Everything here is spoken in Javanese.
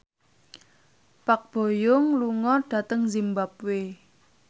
Park Bo Yung lunga dhateng zimbabwe